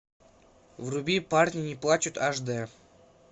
вруби парни не плачут аш дэ